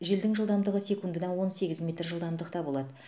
желдің жылдамдығы секундына он сегіз метр жылдамдықта болады